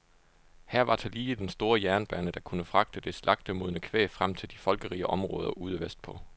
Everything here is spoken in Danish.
Her var tillige den store jernbane, der kunne fragte det slagtemodne kvæg frem til de folkerige områder ude vestpå.